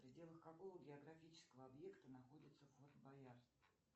в пределах какого географического объекта находится форт боярд